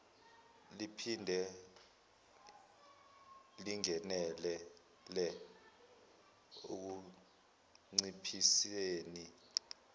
liphinde lingenelele ekunciphiseni